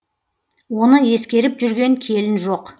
оны ескеріп жүрген келін жоқ